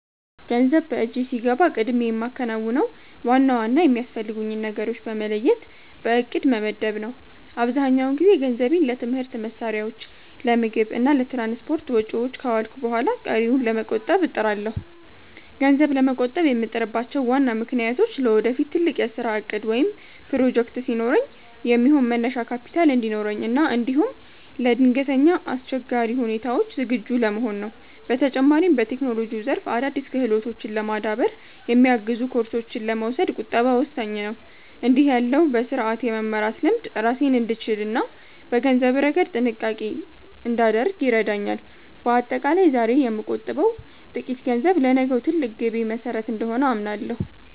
ገንዘብ በእጄ ሲገባ ቀድሜ የማከናውነው ዋና ዋና የሚያስፈልጉኝን ነገሮች በመለየት በዕቅድ መመደብ ነው። አብዛኛውን ጊዜ ገንዘቤን ለትምህርት መሣሪያዎች፣ ለምግብ እና ለትራንስፖርት ወጪዎች ካዋልኩ በኋላ ቀሪውን ለመቆጠብ እጥራለሁ። ገንዘብ ለመቆጠብ የምጥርባቸው ዋና ምክንያቶች ለወደፊት ትልቅ የሥራ ዕቅድ ወይም ፕሮጀክት ሲኖረኝ የሚሆን መነሻ ካፒታል እንዲኖረኝ እና እንዲሁም ለድንገተኛ አስቸጋሪ ሁኔታዎች ዝግጁ ለመሆን ነው። በተጨማሪም፣ በቴክኖሎጂው ዘርፍ አዳዲስ ክህሎቶችን ለማዳበር የሚያግዙ ኮርሶችን ለመውሰድ ቁጠባ ወሳኝ ነው። እንዲህ ያለው በሥርዓት የመመራት ልምድ ራሴን እንድችልና በገንዘብ ረገድ ጥንቃቄ እንዳደርግ ይረዳኛል። በአጠቃላይ፣ ዛሬ የምቆጥበው ጥቂት ገንዘብ ለነገው ትልቅ ግቤ መሠረት እንደሆነ አምናለሁ።